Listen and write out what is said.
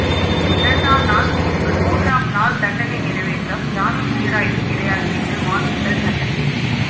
இரண்டாம் நாள் தீர்ப்பு மூன்றாம் நாள் தண்டனை நிறைவேற்றம் ஜாமீன் சீராய்வு கிடையாது என்று மாற்றுங்கள் சட்டத்தில்